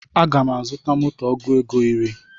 Aga m azuta moto ọgụ ego iri